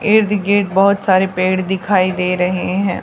ईद गिर्द बहोत सारे पेड़ दिखाई दे रहे हैं।